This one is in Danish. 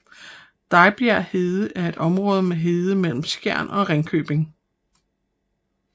Dejbjerg Hede er et område med hede mellem Skjern og Ringkøbing